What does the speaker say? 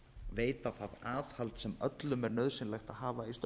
veita það aðhald sem öllum er nauðsynlegt að hafa